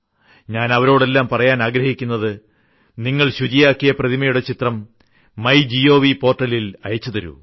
ഞാൻ അവരോടെല്ലാം പറയാൻ ആഗ്രഹിക്കുന്നത് നിങ്ങൾ ശുചിയാക്കിയ പ്രതിമയുടെ ചിത്രം ങ്യഏീ് ുീൃമേഹ ൽ അയച്ചു തരൂ